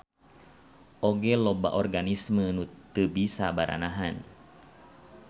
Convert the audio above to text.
Oge loba organisme nu teu bisa baranahan.